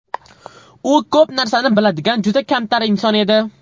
U ko‘p narsani biladigan juda kamtar inson edi.